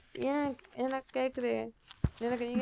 ஏன் எனக்கு கேக்குது எனக்கு நீங்க